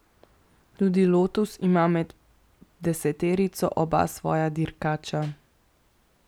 Tudi Lotus ima med deseterico oba svoja dirkača.